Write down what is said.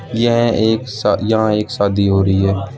यह एक शा यहां एक शादी हो रही है।